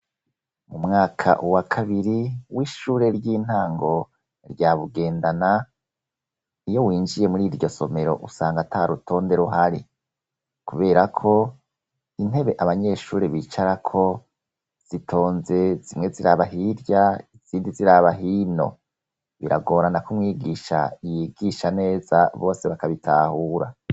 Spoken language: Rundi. Mumwaka uwa kabiri w'ishure ry'intango rya Bugendana iyo winjiye muri iryo somero usanga ata rutonde ruhari kubera ko intebe abanyeshure bicara ko zitonze zimwe Ziraba hirya isindi ziraba hino biragorana ko umwigisha yigisha neza bose bakabitahura.